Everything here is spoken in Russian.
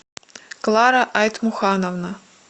клара айтмухановна